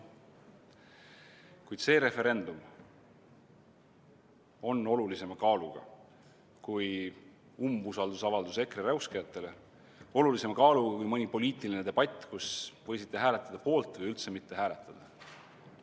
Kuid see referendum on olulisema kaaluga kui umbusaldusavaldus EKRE räuskajatele, olulisema kaaluga kui mõni poliitiline debatt, kus võisite hääletada poolt või üldse mitte hääletada.